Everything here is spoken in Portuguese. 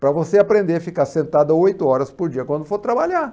Para você aprender a ficar sentada oito horas por dia quando for trabalhar.